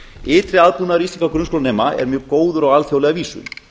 ytri aðbúnaður íslenskra grunnskólanema er dag góður á alþjóðlega vísu